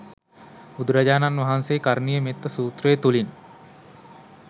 බුදුරජාණන් වහන්සේ කරණීය මෙත්ත සූත්‍රය තුළින්